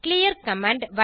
clear command